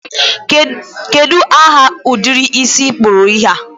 kedụ aha ụdịrị isi ị kpụrụ ihe a?